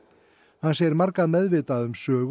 hann segir marga meðvitaða um sögu